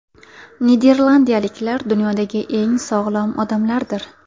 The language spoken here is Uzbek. Niderlandiyaliklar dunyodagi eng sog‘lom odamlardir.